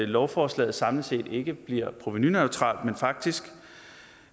lovforslaget samlet set ikke bliver provenuneutralt men faktisk